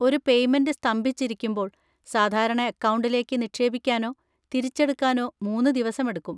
ഒരു പേയ്‌മെന്‍റ് സ്തംഭിച്ചിരിക്കുമ്പോൾ, സാധാരണ അക്കൗണ്ടിലേക്ക് നിക്ഷേപിക്കാനോ തിരിച്ചെടുക്കാനോ മൂന്ന് ദിവസമെടുക്കും.